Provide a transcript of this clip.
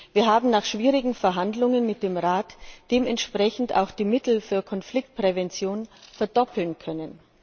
Wir haben nach schwierigen Verhandlungen mit dem Rat dementsprechend auch die Mittel für Konfliktprävention verdoppeln können.